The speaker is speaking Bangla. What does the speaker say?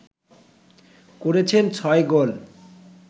করেছেন ছয় গোল